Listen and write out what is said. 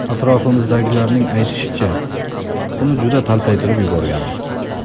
Atrofimizdagilarning aytishicha, uni juda taltaytirib yuborganmiz.